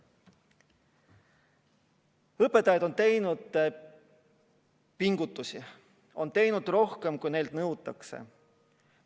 Õpetajad on teinud pingutusi, nad on teinud rohkem, kui neilt nõutakse.